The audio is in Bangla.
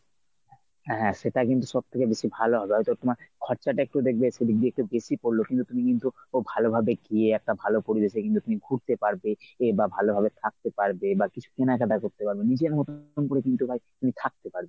হ্যাঁ সেটাই কিন্তু সবথেকে বেশি ভালো হবে হয়ত তোমার খরচাটা একটু দেখবে সেদিক দিয়ে একটু বেশি পরল কিন্তু তুমি কিন্তু খুব ভালোভাবে গিয়ে একটা ভালো পরিবেশে কিন্তু তুমি ঘুরতে পারবে এ বা ভালোভাবে থাকতে পারবে। এবার কিছু কেনা-কাটা করতে পারবে নিজের মতন তুমি পুরো কিন্তু ভাই তুমি থাকতে পারবে।